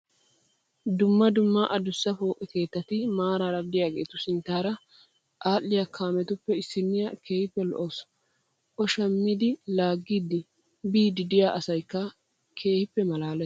Dumma dumma adussa pooqe keettati maaraara diyaagetu sinttaara aadhdhiya kaametuppe issinniyaa keehippe lo'awusu. O shammidi laaggidi biiddi diyaa asayikka keehippe maalales.